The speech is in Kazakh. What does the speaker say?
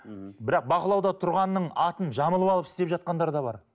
бірақ бақылауда тұрғанның атын жамылып алып істеп жатқандар бар